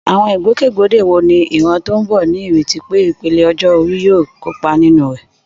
Àwọn ìgbòkègbodò wo ni ìran tó ń bọ̀ ní ìrètí pé ìpele ọjọ́ orí yóò kópa nínú rẹ̀?